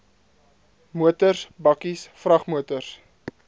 motors bakkies vragmotors